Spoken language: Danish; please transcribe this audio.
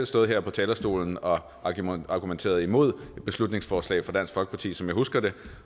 stået her på talerstolen og argumenteret imod et beslutningsforslag fra dansk folkeparti som jeg husker det